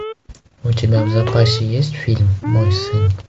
у тебя в запасе есть фильм мой сын